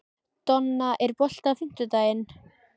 Donna, er bolti á fimmtudaginn?